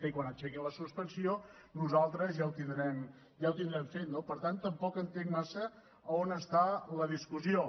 i quan aixequin la suspensió nosaltres ja ho tindrem fet no per tant tampoc entenc massa a on està la discussió